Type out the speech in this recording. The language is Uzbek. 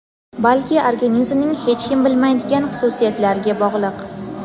balki organizmning hech kim bilmaydigan xususiyatlariga bog‘liq.